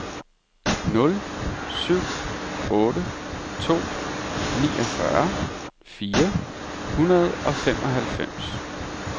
nul syv otte to niogfyrre fire hundrede og femoghalvfems